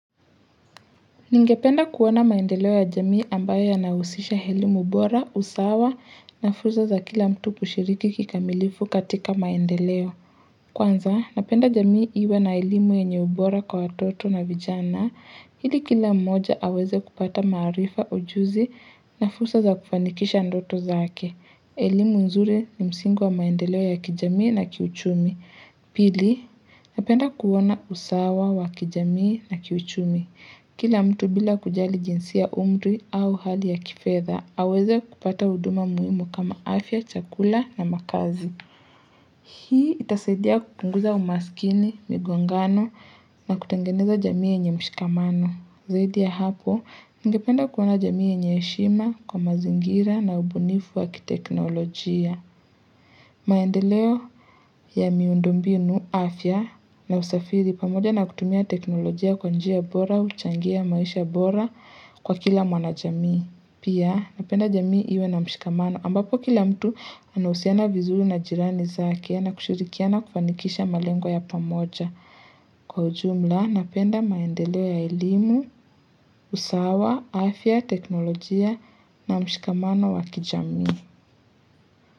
Ningependa kuona maendeleo ya jamii ambayo yanahusisha elimu bora, usawa, na fursa za kila mtu kushiriki kikamilifu katika maendeleo. Kwanza, napenda jamii iwe na elimu yenye ubora kwa watoto na vijana, ili kila mmoja aweze kupata maarifa, ujuzi, na fursa za kufanikisha ndoto zake. Elimu nzuri ni msingo wa maendeleo ya kijamii na kiuchumi. Pili, napenda kuona usawa wa kijamii na kiuchumi. Kila mtu bila kujali jinsia umri au hali ya kifedha, aweze kupata huduma muhimu kama afya, chakula na makazi. Hii itasaidia kupunguza umaskini, migongano na kutengeneza jamii yenye mshikamano. Zaidi ya hapo, ningependa kuona jamii yenye heshima kwa mazingira na ubunifu wa kiteknolojia. Maendeleo ya miundombinu, afya na usafiri pamoja na kutumia teknolojia kwa njia bora, huchangia maisha bora kwa kila mwanajamii. Pia napenda jamii iwe na mshikamano ambapo kila mtu anahusiana vizuri na jirani zake na kushirikiana kufanikisha malengo yao pamoja. Kwa ujumla napenda maendeleo ya elimu, usawa, afya, teknolojia na mshikamano wa kijamii.